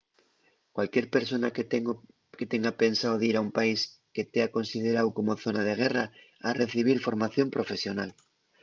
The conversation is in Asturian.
cualquier persona que tenga pensao dir a un país que tea consideráu como zona de guerra ha recibir formación profesional